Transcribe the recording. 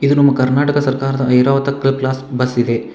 ಇದು ನಮ್ಮ ಕರ್ನಾಟಕ ಸರ್ಕಾರದ ಐರಾವತ ಕ್ಲಬ್ ಕ್ಲಾಸ್ ಬಸ್ ಇದೆ.